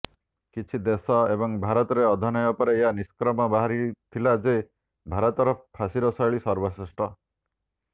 କିଛି ଦେଶ ଏବଂ ଭାରତରେ ଅଧ୍ୟୟନ ପରେ ଏହା ନିଷ୍କର୍ଷ ବାହାରିଥିଲା ଯେ ଭାରତରେ ଫାଶୀର ଶୈଳୀ ସର୍ବଶ୍ରେଷ୍ଠ